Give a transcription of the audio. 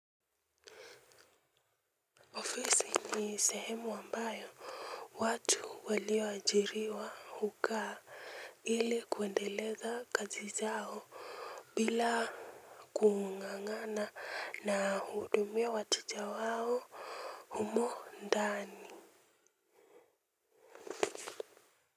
Ofisi ni sehemu ambayo watu walioajiriwa hukaa ili kuendeleza kazi zao bila kung'ang'ana na uhudumia wateja wao humo ndani.